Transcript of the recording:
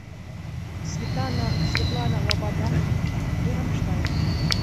светлана лобода и рамштайн